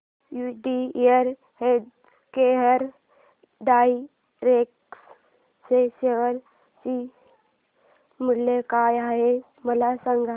UTI healthcare direct च्या share चे मूल्य काय आहे मला सांगा